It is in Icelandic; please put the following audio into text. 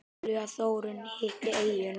Ólafía Þórunn hitti eyjuna.